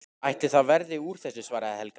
Ætli það verði úr þessu, svaraði Helga.